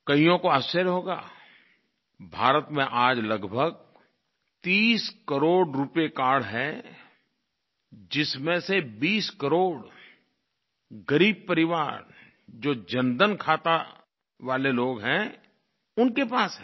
कइयों को आश्चर्य होगा भारत में आज लगभग 30 करोड़ रूपे कार्ड हैं जिसमें से 20 करोड़ ग़रीब परिवार जो जनधन खाता वाले लोग हैं उनके पास है